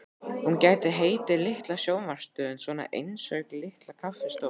Hún gæti heitið Litla sjónvarpsstöðin, svona einsog Litla kaffistofan.